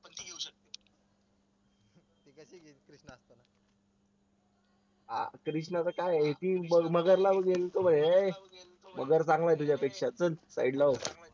कृष्णाचं काय आहे मगर चांगला आहे तुझ्यापेक्षा चल side ला हो